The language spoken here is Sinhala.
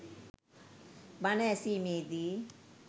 බණ ඇසීමේ දී